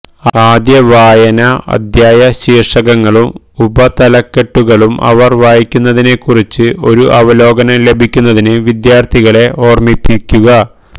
ആദ്യ വായനാ അധ്യായ ശീർഷകങ്ങളും ഉപതലക്കെട്ടുകളും അവർ വായിക്കുന്നതിനെക്കുറിച്ച് ഒരു അവലോകനം ലഭിക്കുന്നതിന് വിദ്യാർത്ഥികളെ ഓർമ്മിപ്പിക്കുക